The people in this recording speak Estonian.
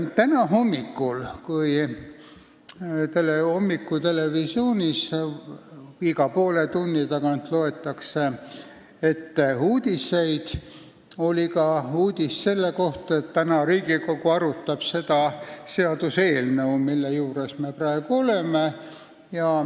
Täna hommikul – hommikutelevisioonis loetakse iga poole tunni tagant uudiseid ette – oli uudis ka selle kohta, et täna arutab Riigikogu seda seaduseelnõu, mille juures me praegu oleme.